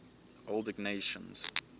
old ignatians